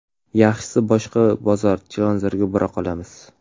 Yaxshisi boshqa bozor Chilonzorga bora qolamiz.